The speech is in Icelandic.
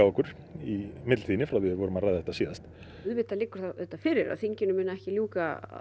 okkur í millitíðinni frá við vorum að ræða þetta síðast auðvitað liggur það fyrir að þinginu muni ekki ljúka